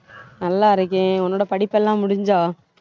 நல்லா இருக்கேன் உன்னோட படிப்பெல்லாம் முடிஞ்சா